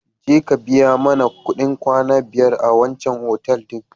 Jeka ka biya mana kuɗin kwana biyar a wancan otal ɗin.